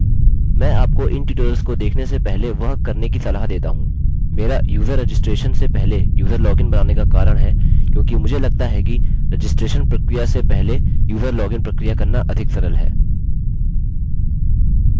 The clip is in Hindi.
मैं आपको इन ट्यूटोरियल्स को देखने से पहले वह करने की सलाह देता हूँ मेरा user registration से पहले user login बनाने का कारण है क्योंकि मुझे लगता है कि रजिस्ट्रैशन registration प्रक्रिया से पहले user login प्रक्रिया करना अधिक सरल है